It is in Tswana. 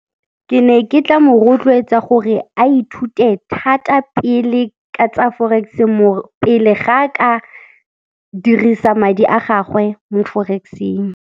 Ke ne ke tla mo rotloetsa gore a ithute thata pele ka tsa forex pele ga a ka dirisa madi a gagwe mo forex-eng.